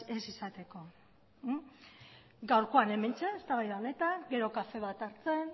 ez izateko gaurkoan hementxe eztabaida honetan gero kafe bat hartzen